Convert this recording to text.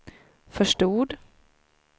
förstod